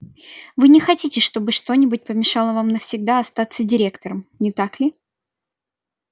вы не хотите чтобы что-нибудь помешало вам навсегда остаться директором не так ли